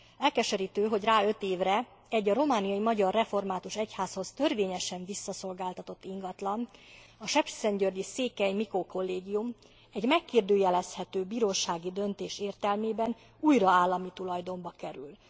Elkeserítő, hogy rá öt évre egy, a romániai magyar református egyházhoz törvényesen visszaszolgáltatott ingatlan, a sepsiszentgyörgyi Székely Mikó Kollégium egy megkérdőjelezhető bírósági döntés értelmében újra állami tulajdonba kerül.